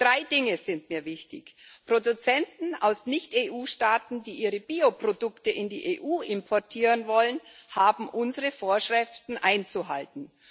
Drei Dinge sind mir wichtig Produzenten aus Nicht EU Staaten, die ihre Bioprodukte in die EU importieren wollen, haben unsere Vorschriften einzuhalten.